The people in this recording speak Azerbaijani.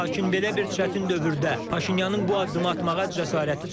Lakin belə bir çətin dövrdə Paşinyanın bu addımı atmağa cəsarəti çatıb.